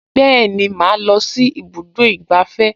Bẹ́ẹ̀ni, màá lọ sí ibùdó ìgbafẹ́